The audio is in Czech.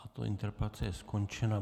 Tato interpelace je skončená.